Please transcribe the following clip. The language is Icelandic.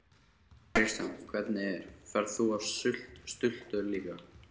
Kristján: Hvernig er, ferð þú á stultur líka?